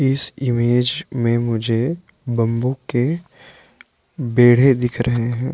इस इमेज में मुझे बंबू के बेढे दिख रहे हैं।